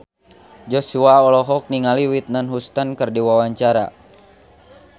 Joshua olohok ningali Whitney Houston keur diwawancara